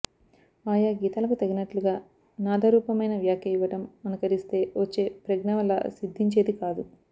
ఆయా గీతాలకు తగినట్లుగా నాదరూపమైన వ్యాఖ్య ఇవ్వటం అనుకరిస్తే వచ్చే ప్రజ్ఞ వల్ల సిద్ధించేది కాదు